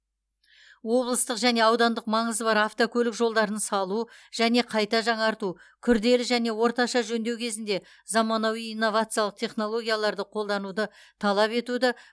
облыстық және аудандық маңызы бар автокөлік жолдарын салу және қайта жаңарту күрделі және орташа жөндеу кезінде заманауи инновациялық технологияларды қолдануды талап етуді